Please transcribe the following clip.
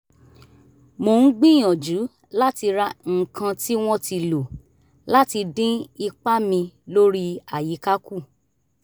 mo ń gbìyànjú láti ra nǹkan tí wọ́n ti lò láti dín ipa mi lórí àyíká kù